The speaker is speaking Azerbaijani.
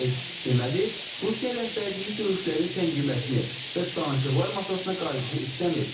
Deməli, Rusiya rəhbərliyi döyüşlərin səngiməsini və danışıqlar masasına qayıdışı istəmir.